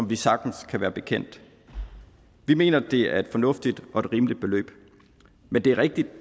vi sagtens kan være bekendt vi mener at det er et fornuftigt og rimeligt beløb men det er rigtigt